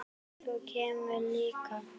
Þú kemur líka!